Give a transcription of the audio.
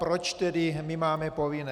Proč tedy my máme povinné?